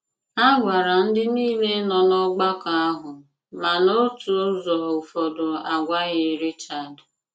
A gwàrà ndị niile nọ n'ọ̀gbàkọ àhụ, ma n’òtù ụzọ ụfọdụ a gwàghị Richard.